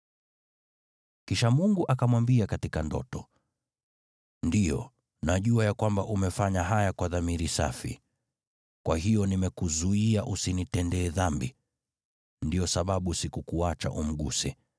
Kisha Mungu akamwambia katika ndoto, “Ndiyo, najua ya kwamba umefanya haya kwa dhamiri safi, kwa hiyo nimekuzuia usinitende dhambi. Ndiyo sababu sikukuacha umguse.